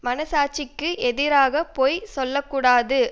மனச்சாட்சிக்கு எதிராக பொய் சொல்ல கூடாது